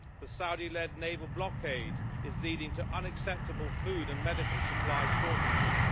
The Saudi led naval blockade is leading to unacceptable food and medical supply shortages.